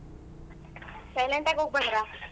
Silent ಆಗ್ ಹೋಗ್ಬಂದ್ರ ?